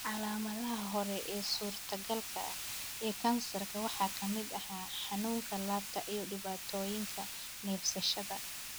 Calaamadaha hore ee suurtagalka ah ee kansarkan waxaa ka mid ah xanuunka laabta iyo dhibaatooyinka neefsashada.